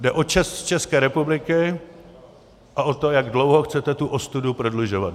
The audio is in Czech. Jde o čest České republiky a o to, jak dlouho chcete tu ostudu prodlužovat.